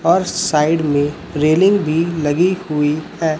और साइड में रेलिंग भी लगी हुई है।